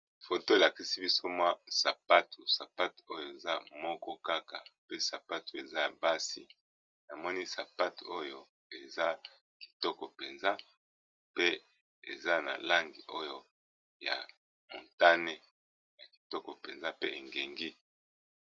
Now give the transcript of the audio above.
Foto elakisi biso mwa sapatu sapate oyo eza moko kaka, pe sapatu eza basi namoni sapate oyo eza kitoko mpenza pe eza na lange oyo ya montane ya kitoko mpenza pe engengi.